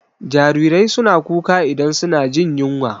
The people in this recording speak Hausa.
Jarirai suna kuka idan suna jin yunwa.